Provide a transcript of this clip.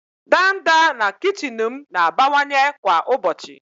ndanda na kichin m na-abawanye kwa ụbọchị.